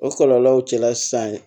O kɔlɔlɔw cɛla sisan